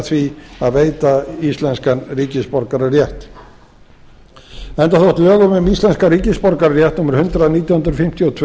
því að veita íslenskan ríkisborgararétt enda þótt lögum um íslenskan ríkisborgararétt númer hundrað nítján hundruð fimmtíu og tvö